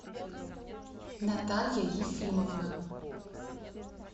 наталья ефимовна